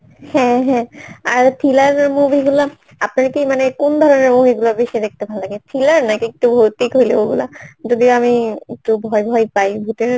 হ্যাঁ ঁ হ্যাঁ ঁ আর thriller এর movie গুলো আপনারা কি মানে কোন ধরণের movie গুলো বেশি দেখতে ভালো লাগে? thriller নাকি একটু ভৌতিক হইলে ওগুলা? যদি আমি একটু ভয় ভয় পাই ভূতের